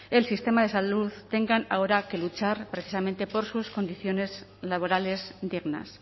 el sistema de salud tengan ahora que luchar precisamente por sus condiciones laborales dignas